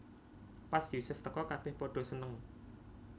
Pas Yusuf teka kabèh padha seneng